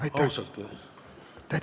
Aitäh!